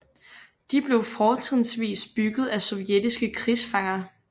De blev fortrinsvis bygget af sovjetiske krigsfanger